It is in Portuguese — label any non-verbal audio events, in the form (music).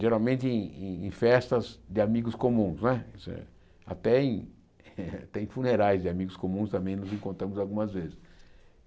Geralmente em festas de amigos comuns não é, isso é até em até em (laughs) funerais de amigos comuns também nos encontramos algumas vezes.